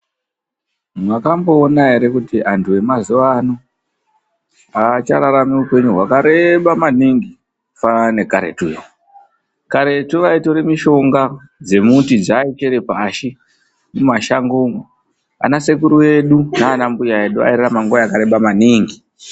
Mwakamboona ere kuti antu emazuwa ano aachararami upenyu hwakareba maningi kufanana nekaretu yo. Karetu vaitora mishonga dzemuti dzeaichere pashi mumashango umo. Ana sekuru edu naanambuya edu airarama nguwa yakareba maningi.